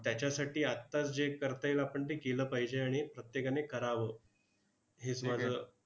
त्याच्यासाठी आत्ताच जे करता येईल आपण ते केलं पाहिजे आणि प्रत्येकाने करावं. हेच माझं